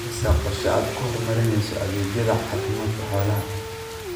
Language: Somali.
Ma haysaa qorshe aad ku horumarinayso adeegyada caafimaadka xoolaha?